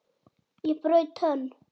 Ég braut tönn!